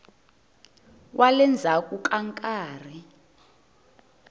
wa le ndzhaku ka nkarhi